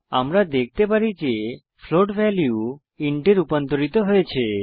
আমরা দেখতে পারি যে ফ্লোট ভ্যালু ইন্ট এ রুপান্তরিত হয়েছে